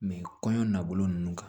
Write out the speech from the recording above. kɔɲɔ na bolo nunnu kan